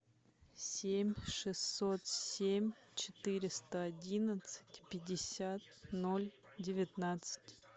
семь шестьсот семь четыреста одиннадцать пятьдесят ноль девятнадцать